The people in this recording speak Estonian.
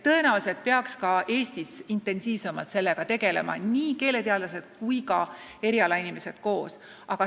Tõenäoliselt peaks ka Eestis sellega intensiivsemalt tegelema nii keeleteadlased kui ka erialainimesed koos.